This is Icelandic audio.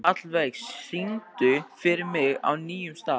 Hallveig, syngdu fyrir mig „Á nýjum stað“.